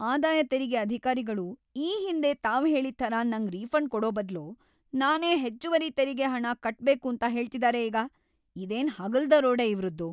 ಆದಾಯ ತೆರಿಗೆ ಅಧಿಕಾರಿಗಳು ಈ ಹಿಂದೆ‌ ತಾವ್ ಹೇಳಿದ್‌ ಥರ ನಂಗ್ ರೀಫಂಡ್ ಕೊಡೋ ಬದ್ಲು ನಾನೇ ಹೆಚ್ಚುವರಿ ತೆರಿಗೆ ಹಣ ಕಟ್ಬೇಕೂಂತ ಹೇಳ್ತಿದಾರೆ ಈಗ.. ಇದೇನ್‌ ಹಗಲ್‌ ದರೋಡೆ ಇವ್ರದ್ದು!